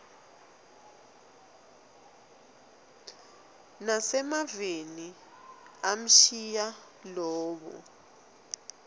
nasemaveni amshiya lowa